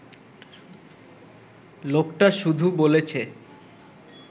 লোকটা শুধু বলেছে